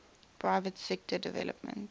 private sector development